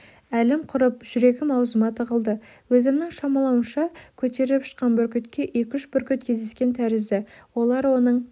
әлім құрып жүрегім аузыма тығылды өзімнің шамалауымша көтеріп ұшқан бүркітке екі-үш бүркіт кездескен тәрізді олар оның